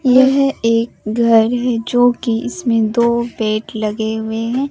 यह एक घर है जो कि इसमें दो बेड लगें हुए हैं।